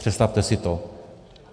Představte si to.